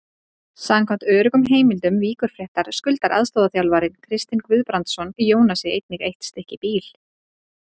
Samkvæmt öruggum heimildum Víkurfrétta skuldar aðstoðarþjálfarinn Kristinn Guðbrandsson Jónasi einnig eitt stykki bíl.